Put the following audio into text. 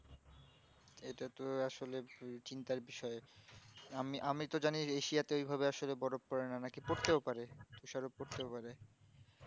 ইটা তো আসলে ভি চিন্তার বিষয় আমি আমি তো জানি এশিয়াতে এই ভাবে আসলে বরফ পরে না নাকি পড়তে পারে তুষার ও পড়তে পারে